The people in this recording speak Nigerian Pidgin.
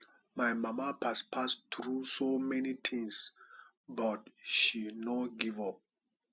my mama pass pass through so many things but she no give up